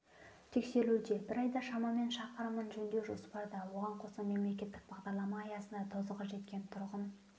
тексерілуде бір айда шамамен шақырымын жөндеу жоспарда оған қоса мемлекеттік бағдарлама аясында тозығы жеткен тұрғын